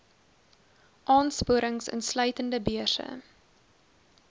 aansporings insluitende beurse